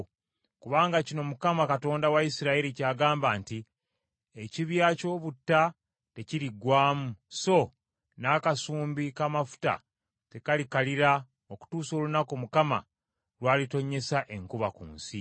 Kubanga kino Mukama Katonda wa Isirayiri ky’agamba nti, ‘Ekibya ky’obutta tekiriggwaamu, so n’akasumbi k’amafuta tekalikalira okutuusa olunaku Mukama lw’alitonyesa enkuba ku nsi.’ ”